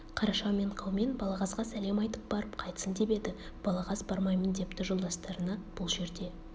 қараша мен қаумен балағазға сәлем айтып барып қайтсын деп еді балағаз бармаймын депті жолдастарына бұл жерде